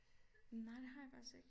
Nej det har jeg faktisk ikke